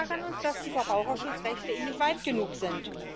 Aber wir ärgern uns, dass die Verbraucherschutzrechte nicht weit genug sind.